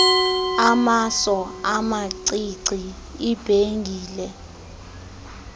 amaso amacici ibhengile